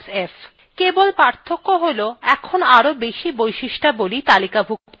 কেবল পার্থক্য হল এখন আরও বেশি বৈশিষ্ট্যাবলী তালিকাভুক্ত করা হয়েছে